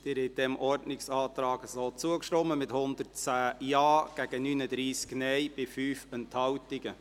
Sie haben diesem Ordnungsantrag so zugestimmt, mit 110 Ja- gegen 39 Nein-Stimmen bei 5 Enthaltungen.